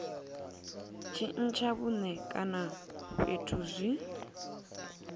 tshintsha vhuṋe kana fhethu zwi